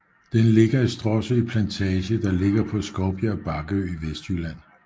Den ligger i Stråsø Plantage der ligger på Skovbjerg Bakkeø i Vestjylland